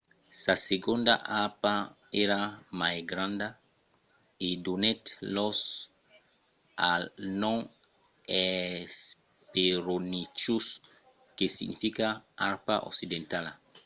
sa segonda arpa èra mai granda e donèt lòc al nom hesperonychus que significa arpa occidentala.